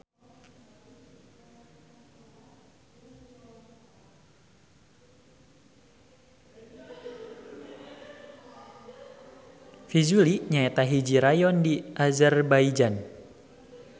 Fizuli nyaeta hiji rayon di Azerbaijan.